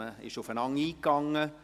Man ist aufeinander eingegangen.